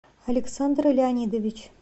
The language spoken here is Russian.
александр леонидович